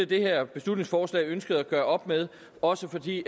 det her beslutningsforslag ønsker at gøre op med også fordi